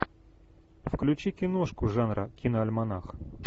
включи киношку жанра киноальманах